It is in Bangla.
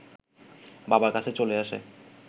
বাবার কাছে চলে আসে